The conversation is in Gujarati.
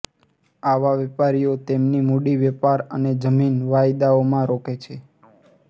આવા વેપારીઓ તેમની મૂડી વેપાર અને જમીન વાયદાઓમાં રોકે છે